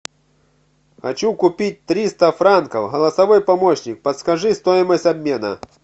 хочу купить триста франков голосовой помощник подскажи стоимость обмена